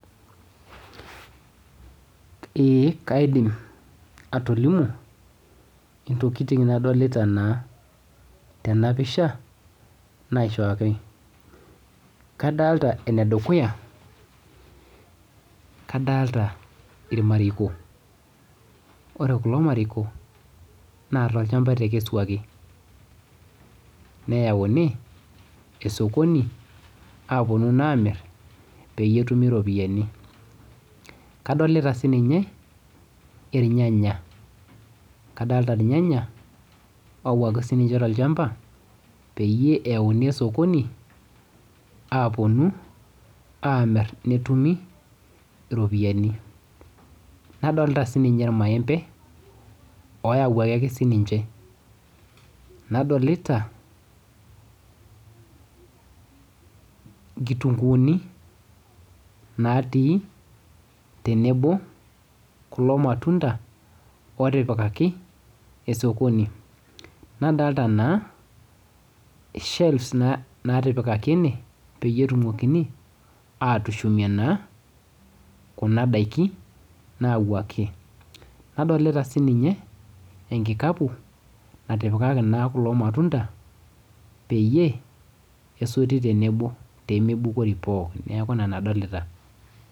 Eeh kaidiim atolimuu ntokitin nadolita naa tena pishaa naishooki. Kadolita ene dukuya kadolita ilmarekoo kore kuloo ilmarekoo naa to lchambaa etekesuaki neyauni esokoni eponuu amiir peiye etuumi ropiani. Kadolita sii ninyee elnyanya kadolita lnyanya owuaki te lchambaa peiye eyauni sokoni aponuu amiir netuumi ropiani. Nadolita sii ninyee lmaembe oyawuaki sii ninchee. Nadolita nkitung'uni natii tenebo kuloo matundaa otipikaki esokoni. Nadolita naa shelves natipikaki ene peiye etumokinii atushumie naa kuna ndaaki nauwaki. Nadolita naa sii ninyee enkikapu naitipikaki naa kuloo matundaa peiye esutii tenebo pee meibukori pooki. Naaku nena adolita.